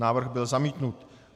Návrh byl zamítnut.